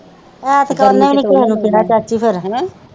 ਐਤਕਾਂ ਉਹਨੇ ਵੀ ਨਹੀਂ ਕਿਹੇ ਨੂੰ ਕਹਿਣਾ ਚਾਚੀ ਫਿਰ